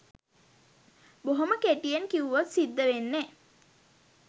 බොහොම කෙටියෙන් කිව්වොත් සිද්දවෙන්නෙ.